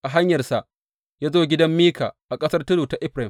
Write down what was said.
A hanyarsa ya zo gidan Mika a ƙasar tudu ta Efraim.